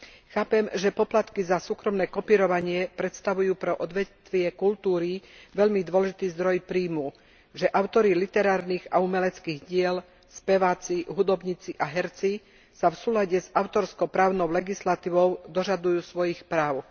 Chápem, že poplatky za súkromné kopírovanie predstavujú pre odvetvie kultúry veľmi dôležitý zdroj príjmu, že autori literárnych a umeleckých diel, speváci, hudobníci a herci sa v súlade s autorsko právnou legislatívou dožadujú svojich práv.